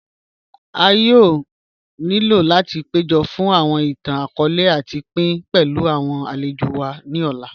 À yóò nílò láti péjọ́ fun awọn ìtàn-akọọ̀lẹ̀ láti pín pẹ̀lú awọn alẹ̀jò wa ni òlà.